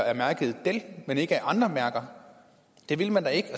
af mærket dell men ikke af andre mærker det ville man da ikke